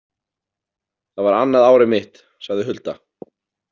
Það var annað árið mitt, sagði Hulda.